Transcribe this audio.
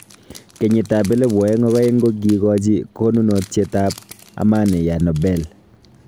Keyiit ab 2002 kogigochi konunotiet ab Amani ya Nobel.